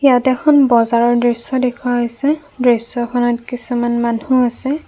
ইয়াত এখন বজাৰৰ দৃশ্য দেখুওৱা হৈছে দৃশ্যখনত কিছুমান মানুহ আছে।